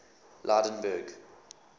lydenburg